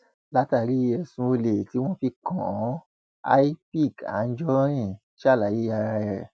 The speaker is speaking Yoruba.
látàrí ẹsùn olè tí wọn fi kàn án l picc anjorin ṣàlàyé ara ẹ